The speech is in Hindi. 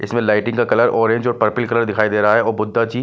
इसमें लाइटिंग का कलर ऑरेंज और पर्पल कलर दिखाई दे रहा है अ बुद्धा जी--